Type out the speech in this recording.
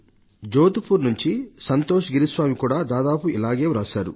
జోధ్పూర్ నుంచి సంతోష్ గిరిస్వామి కూడా దాదాపు ఇలాగే రాశారు